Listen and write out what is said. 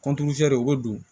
o bɛ don